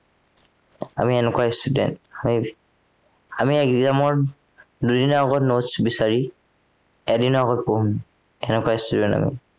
আমি এনেকুৱা student হয় আমি exam ৰ দুদিনৰ আগত notes বিচাৰি এদিনৰ আগত পঢ়ো এনেকুৱা student আমি